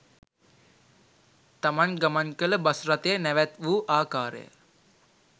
තමන් ගමන් කළ බස් රථය නැවැත්වූ ආකාරය